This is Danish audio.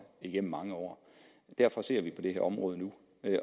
igennem mange år derfor ser vi på det her område nu